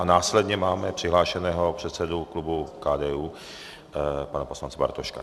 A následně máme přihlášeného předsedu klubu KDU, pana poslance Bartoška.